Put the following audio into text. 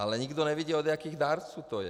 Ale nikdo nevidí, od jakých dárců to je.